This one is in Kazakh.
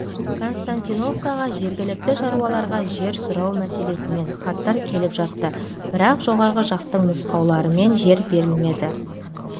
константиновкаға жергілікті шаруаларға жер сұрау мәселесімен хаттар келіп жатты бірақ жоғарғы жақтың нұсқауларымен жер берілмеді